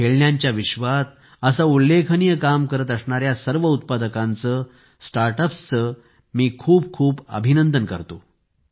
खेळण्यांच्या विश्वात असे उल्लेखनीय काम करत असणाऱ्या सर्व उत्पादकांचे स्टार्ट अपचे मी खूप खूप अभिनंदन करतो